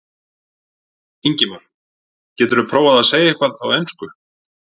Ingimar: Geturðu prófað að segja eitthvað á ensku?